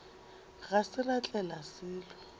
ga se ra tlela selo